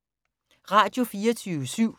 Radio24syv